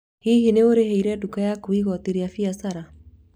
Hihi nĩ ũrĩhaire nduka yaku igooti rĩa biacara?